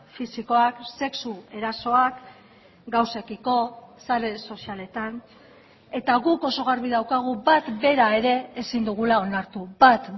fisikoak sexu erasoak gauzekiko sare sozialetan eta guk oso garbi daukagu bat bera ere ezin dugula onartu bat